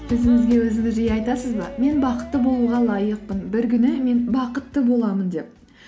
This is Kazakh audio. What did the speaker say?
өзіңізге өзіңіз жиі айтасыз ба мен бақытты болуға лайықпын бір күні мен бақытты боламын деп